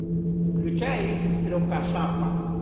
включай риск стрелка шарпа